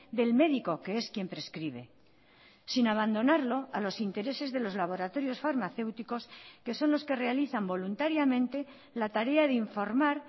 del médico que es quien prescribe sin abandonarlo a los intereses de los laboratorios farmacéuticos que son los que realizan voluntariamente la tarea de informar